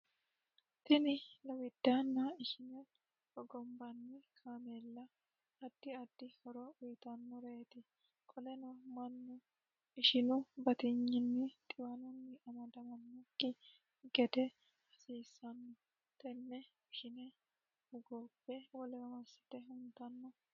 Tinni lowidaanna ishine hogombanni kaameella addi addi horo uyitanoreeti qoleno manu ishinu batiyninni xiwanunni amadamanoki gede hasiisano tene ishine hogobe wolewa masite huntano.